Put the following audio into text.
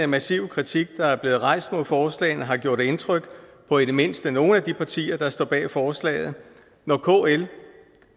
massive kritik der er blevet rejst mod forslagene har gjort indtryk på i det mindste nogle af de partier der står bag forslaget når kl